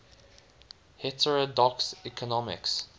heterodox economics